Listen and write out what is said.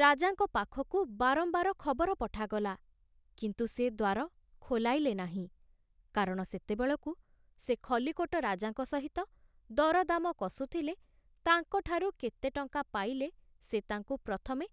ରାଜାଙ୍କ ପାଖକୁ ବାରମ୍ବାର ଖବର ପଠାଗଲା, କିନ୍ତୁ ସେ ଦ୍ଵାର ଖୋଲାଇଲେ ନାହିଁ, କାରଣ ସେତେବେଳକୁ ସେ ଖଲ୍ଲିକୋଟ ରାଜାଙ୍କ ସହିତ ଦରଦାମ କଷୁଥିଲେ ତାଙ୍କ ଠାରୁ କେତେ ଟଙ୍କା ପାଇଲେ ସେ ତାଙ୍କୁ ପ୍ରଥମେ